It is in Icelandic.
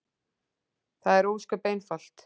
Það er ósköp einfalt.